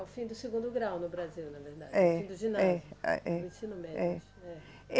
É o fim do segundo grau no Brasil, na verdade, o fim do ginásio, do ensino médio. É